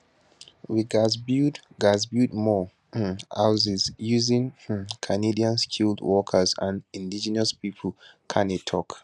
we gatz build gatz build more um houses using um canadian skilled workers and indigenous pipo carney tok